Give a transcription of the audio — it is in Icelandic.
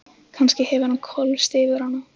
Kannski hefur hann hvolfst yfir hana.